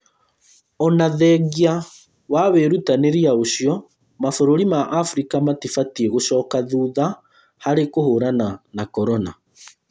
Ona thengia wa wĩrutanĩria ũcio mabũrũri ma afrika matibatiĩ gũcoka thutha harĩ kũhũrana na korona